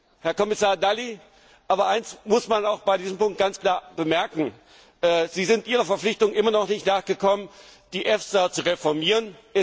Aber, Herr Kommissar Dalli, eines muss man bei diesem Punkt ganz klar bemerken Sie sind Ihrer Verpflichtung immer noch nicht nachgekommen, die EFSA zu reformieren.